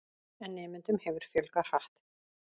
En nemendum hefur fjölgað hratt.